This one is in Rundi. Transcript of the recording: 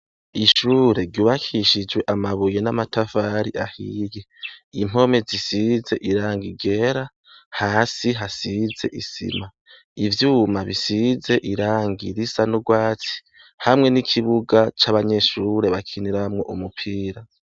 Ishure ryubakishijwe amabuye n'amatavari ahiye impome zisize iranga igera hasi hasize isima ivyuma bisize iranga irisa n'ugwatsi hamwe n'ikibuga c'abanyeshure bakiniramwo umupira.